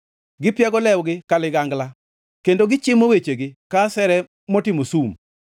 Gipiago lewgi ka ligangla kendo gichimo wechegi ka asere motimo sum.